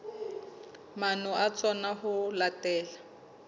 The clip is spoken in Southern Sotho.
maano a tsona ho latela